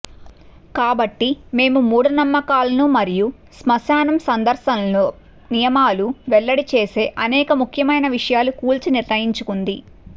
కాబట్టి మేము మూఢనమ్మకాలను మరియు స్మశానం సందర్శనల నియమాలు వెల్లడి చేసే అనేక ముఖ్యమైన విషయాలు కూల్చి నిర్ణయించుకుంది